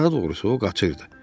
Daha doğrusu o qaçırdı.